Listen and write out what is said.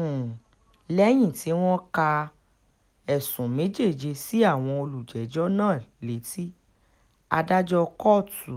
um lẹ́yìn tí wọ́n ka um ẹ̀sùn méjèèje sí àwọn olùjẹ́jọ́ náà létí adájọ́ kóòtù